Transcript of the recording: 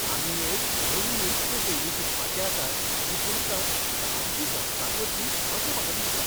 आमी एक नवी नृत्य शैली शिकपाचे आसात जी तुमकां सामकी घोस्ताक वतली अशें म्हाका दिसता.